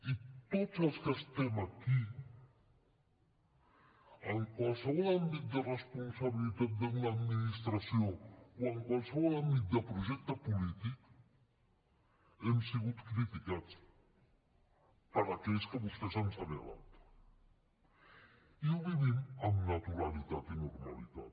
i tots els que estem aquí en qualsevol àmbit de responsabilitat d’una administració o en qualsevol àmbit de projecte polític hem sigut criticats per aquells que vostès han assenyalat i ho vivim amb naturalitat i normalitat